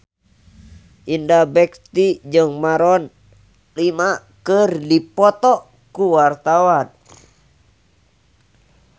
Indra Bekti jeung Maroon 5 keur dipoto ku wartawan